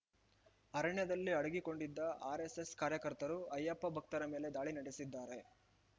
ಅರಣ್ಯದಲ್ಲಿ ಅಡಗಿಕೊಂಡಿದ್ದ ಆರ್‌ಎಸ್‌ಎಸ್‌ ಕಾರ್ಯಕರ್ತರು ಅಯ್ಯಪ್ಪ ಭಕ್ತರ ಮೇಲೆ ದಾಳಿ ನಡೆಸಿದ್ದಾರೆ